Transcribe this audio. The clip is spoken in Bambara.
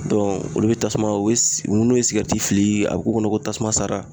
olu bɛ tasuma u bɛ n'u ye sigɛriti fili a b'u kɔnɔ ko tasuma sara